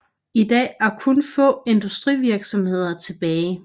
I dag er kun få industrivirksomheder tilbage